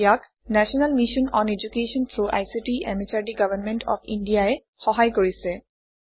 ইয়াক national mission on education through ICT MHRD government of India ই সহায় কৰিছে